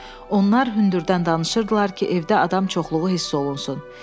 Onlar hündürdən danışırdılar ki, evdə adam çoxluğu hiss olunsun.